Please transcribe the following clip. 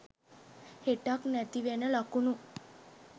හෙටක් නැති වෙන ලකුණු